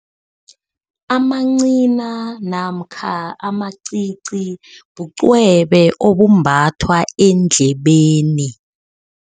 Amancina namkha amacici bucwebe obumbathwa endlebeni.